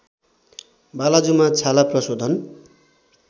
बालाजुमा छाला प्रशोधन